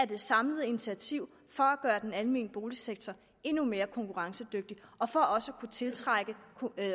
det samlede initiativ for at gøre den almene boligsektor endnu mere konkurrencedygtig og for også at kunne tiltrække